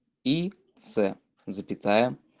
и ц запятая